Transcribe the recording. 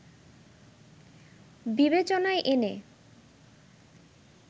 বিবেচনায় এনে